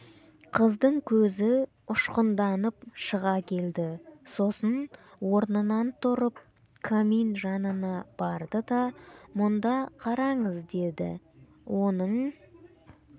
қыздың көзі ұшқынданып шыға келді сосын орнынан тұрып камин жанына барды да мұнда қараңыз деді оның